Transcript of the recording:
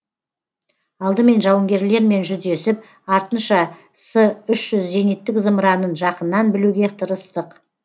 алдымен жауынгерлермен жүздесіп артынша с үш жүз зениттік зымыранын жақыннан білуге тырыстық